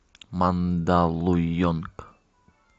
мандалуйонг